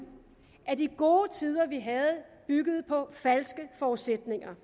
at de gode tider vi havde byggede på falske forudsætninger